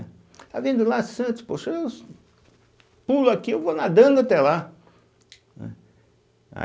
está vendo lá, Santos, pô, se eu pulo aqui, eu vou nadando até lá. né